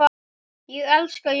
Ég elska jólin!